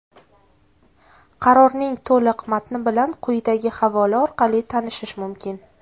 Qarorning to‘liq matni bilan quyidagi havola orali tanishish mumkin.